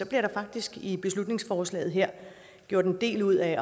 der faktisk i beslutningsforslaget her gjort en del ud af